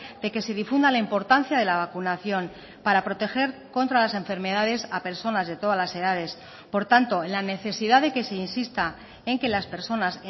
de que se difunda la importancia de la vacunación para proteger contra las enfermedades a personas de todas las edades por tanto en la necesidad de que se insista en que las personas